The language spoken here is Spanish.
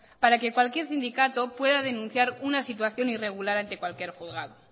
para que cualquier sindicato pueda denunciar una situación irregular ante cualquier juzgado